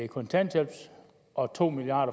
kontanthjælpen og to milliard